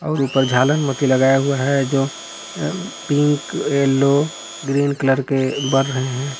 और ऊपर झालर मोती लगाया हुआ है जो अ पिंक येलो ग्रीन कलर के बर रहे हैं।